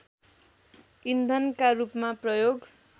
इन्धनका रूपमा प्रयोग